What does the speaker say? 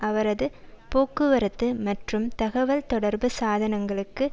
அவரது போக்குவரத்து மற்றும் தகவல் தொடர்பு சாதனங்களுக்கு